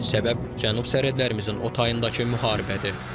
Səbəb Cənub sərhədlərimizin o tayındakı müharibədir.